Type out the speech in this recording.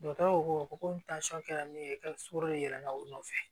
ko ko tansɔn kɛra min ye ye la o nɔfɛ